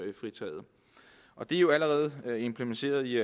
og det er jo allerede implementeret i